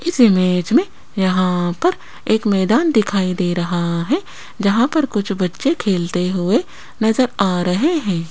इस इमेज में यहां पर एक मैदान दिखाई दे रहा है जहां पर कुछ बच्चे खेलते हुए नजर आ रहे हैं।